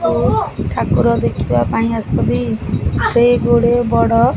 ଓ ଠାକୁର ଦେଖିବା ପାଇଁ ଆସିଛନ୍ତି ସେ ଗୋଡେ ବଡ।